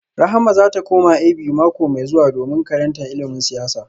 Rahama za ta koma A.B.U. mako mai zuwa domin karanta ilimin siyasa